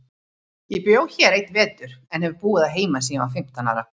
Ég bjó hér einn vetur, en hef búið að heiman síðan ég var fimmtán ára.